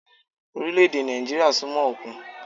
Orílẹ̀-èdè Nàìjíríà súnmọ́ òkun